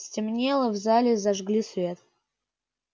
стемнело в зале зажгли свет